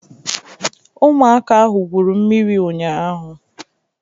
Ụmụaka ahụ gwuru mmiri ụnyaahụ.